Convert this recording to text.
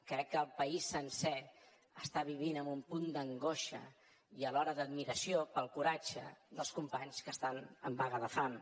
crec que el país sencer ho està vivint amb un punt d’angoixa i alhora d’admiració pel coratge dels companys que estan en vaga de fam